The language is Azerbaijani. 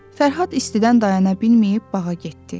Fərhad istidən dayana bilməyib bağa getdi.